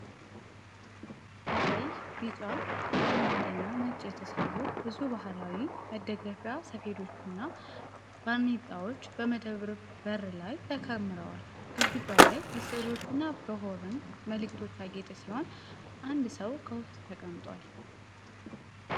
ከቀይ፣ ቢጫ፣ አረንጓዴና ነጭ የተሠሩ ብዙ ባህላዊ መደገፊያ ሰፌዶችና ባርኔጣዎች በመደብር በር ላይ ተከምረዋል። ግድግዳው ላይ በሥዕሎችና በሆርን መለከቶች ያጌጠ ሲሆን፣ አንድ ሰው ከውስጥ ተቀምጧል።